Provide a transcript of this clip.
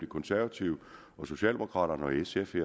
konservative og socialdemokraterne og sf i